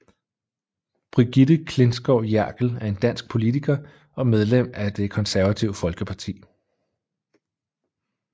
Brigitte Klintskov Jerkel er en dansk politiker og medlem af Det konservative Folkeparti